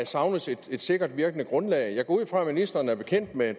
savnes et sikkert virkende grundlag jeg går ud fra at ministeren er bekendt med